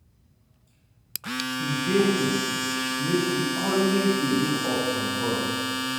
E dey good make we always dey look up on God